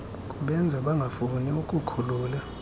kubenza bangafuni ukukukhulula